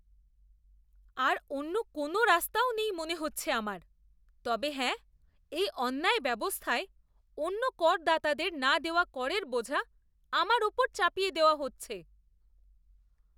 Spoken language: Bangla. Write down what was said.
আর অন্য কোনও রাস্তাও নেই মনে হচ্ছে আমার, তবে হ্যাঁ এই অন্যায় ব্যবস্থায় অন্য করদাতাদের না দেওয়া করের বোঝা আমার ওপর চাপিয়ে দেওয়া হচ্ছে।